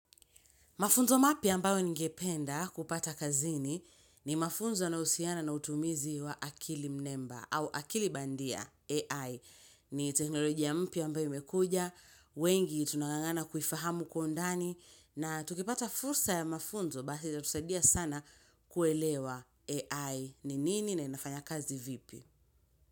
Mafunzo mapya ambayo ningependa kupata kazini ni mafunzo yanayohusiana na utumizi wa akili mnemba au akili bandia AI. Ni teknologi mpya ambayo imekuja, wengi tunanganana kuifahamu kwa undani na tukipata fursa ya mafunzo basi itatusaidia sana kuelewa AI ni nini na inafanya kazi vipi.